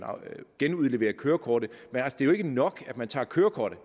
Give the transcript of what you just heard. genudleverer kørekortet det er jo ikke nok at man tager kørekortet